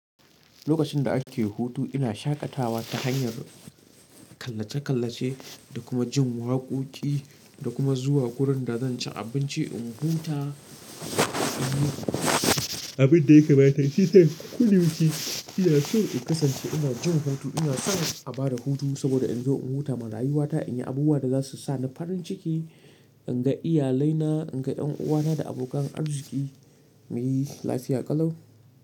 Lokacin da ake hutu ina shaƙatawa ta hanyar kallace-kallace da kuma jin waƙoƙi da kuma zuwa wurin da zan ci abinci in huta. Abin da ya kamata shi sai koda yaushe. Iya so in kasance ina jin hutu, ina son a ba da hutu saboda in zo in huta marayu wata, in yi abubuwa da za su sa ni farin ciki, in ga iyalaina, in ga ƴan uwana da abokan arziki muyi lafiya ƙalau.